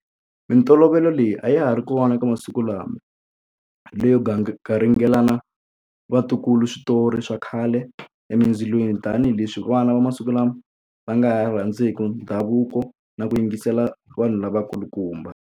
Mintolovelo leyi a ya ha ri kona eka masiku lama leyo garingelana vatukulu switori swa khale emindzilweni tanihileswi vana va masiku lama va nga ha rhandziku ndhavuko na ku yingisela vanhu lavakulukumba.